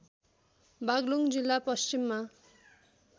बागलुङ जिल्ला पश्चिममा